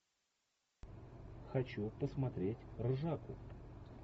хочу посмотреть ржаку